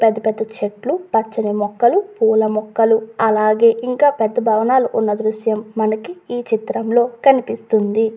పెద్ద పెద్ద చెట్లు పచ్చని మొక్కలు పూల మొక్కలు అలాగే ఇంకా పెద్ద భవనాలు ఉన్న దృశ్యం మనకి ఈ చిత్రం లో కనిపిస్తుంది.